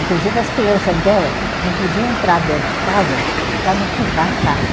Inclusive as crianças dela não podiam entrar dentro de casa para não sujar a casa.